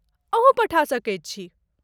अहूँ पठा सकैत छी।